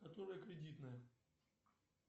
которая кредитная